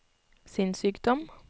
sinnssykdom